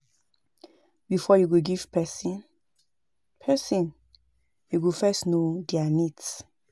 Before you go give person, person, you go first know their needs